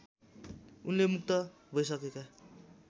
उनले मुक्त भैसकेका